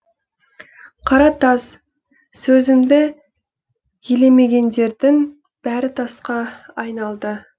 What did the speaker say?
қара тас сөзімді елемегендердің бәрі тасқа айналды